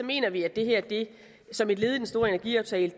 mener vi at det her som et led i den store energiaftale